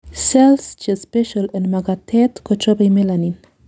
cells chespecial en makatet kochobei melanin